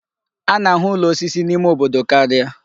A na-ahụ ụlọ osisi n'ime obodo karịa.